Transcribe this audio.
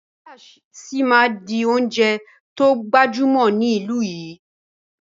Písà síí máa di oúnjẹ to gbajúmọ̀ ní ìlú yìí.